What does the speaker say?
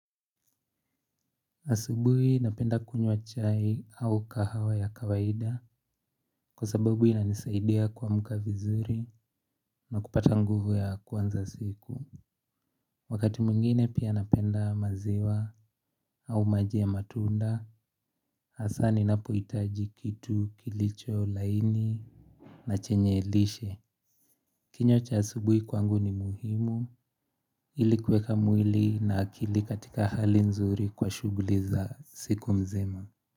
Asubuhi napenda kunywa chai au kahawa ya kawaida kwa sababu ilanisaidia kwa mkavizuri na kupata nguvu ya kwanza siku. Wakati muingine pia napenda maziwa au maji ya matunda hasani napo itaji kitu kilicho laini na chenye lishe. Kinywa cha asubuhi kwangu ni muhimu ili kuweka mwili na akili katika hali nzuri kwa shughuli za siku mzima.